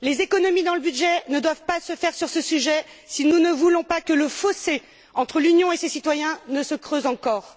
Les économies dans le budget ne doivent pas se faire sur ce sujet si nous ne voulons pas que le fossé entre l'Union et ses citoyens se creuse encore.